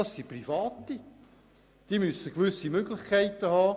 Es handelt sich um private und sie müssen gewisse Möglichkeiten haben.